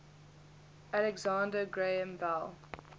alexander graham bell